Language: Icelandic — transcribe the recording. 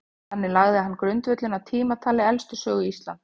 þannig lagði hann grundvöllinn að tímatali elstu sögu íslands